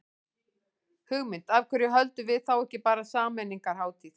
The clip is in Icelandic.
Hugmynd, af hverju höldum við þá ekki bara sameiningarhátíð.